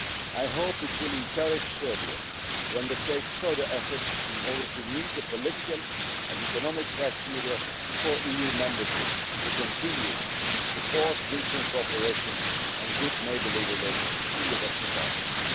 I hope it will encourage Serbia to undertake further efforts in order to meet the political and economic criteria for EU membership and to continue to support regional cooperation and good neighbourly relations in the Western